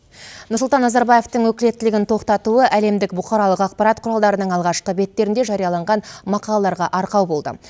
нұрсұлтан назарбаевтың өкілеттілігін тоқтатуы әлемдік бұқаралық ақпарат құралдарының алғашқы беттерінде жарияланған мақалаларға арқау болды